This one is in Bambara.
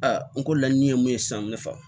Aa n ko laɲini ye mun ye sisan n bɛ fa